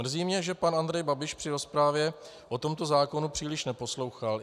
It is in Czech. Mrzí mě, že pan Andrej Babiš při rozpravě o tomto zákonu příliš neposlouchal.